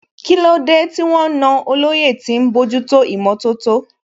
Kílódé tí wọ́n na olóyè tí ń bójútó ìmọ̀tótó?